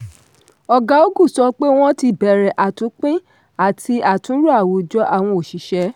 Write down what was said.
ọ̀gá ogu sọ pé wọn ti bẹ̀rẹ̀ àtúnpín àti àtúnrò àwùjọ àwọn oṣìṣẹ́.